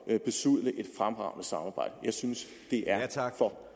at besudle et fremragende samarbejde jeg synes det er